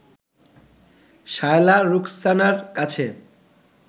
শায়লা রুখসানার কাছে